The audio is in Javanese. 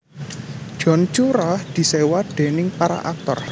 John Cura diséwa déning para aktor